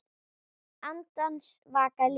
Andans vaka líður.